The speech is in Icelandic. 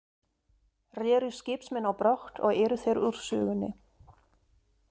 Reru skipsmenn á brott, og eru þeir úr sögunni.